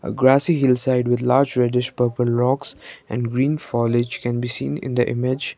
a grassy hill side with large reddish purple rocks and green foliage can be seen in the image.